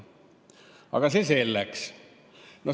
Aga see selleks.